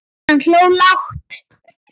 Hann hló lágt.